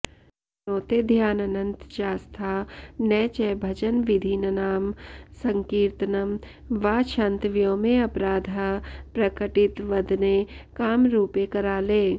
नोतेध्यानन्त चास्था न च भजन विधिन्नाम सङ्कीर्तनं वा क्षन्तव्योमेऽपराधः प्रकटित वदने कामरूपे कराले